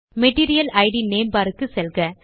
material it name பார் க்கு செல்க